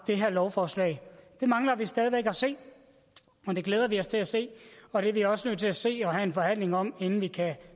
det her lovforslag det mangler vi stadig væk at se og det glæder vi os til at se og det er vi også nødt til at se og have en forhandling om inden vi kan